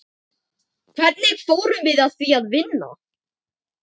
Hvernig fórum við að því að vinna?